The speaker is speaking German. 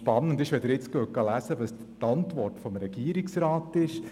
Spannend ist, wenn Sie die Antwort des Regierungsrats lesen;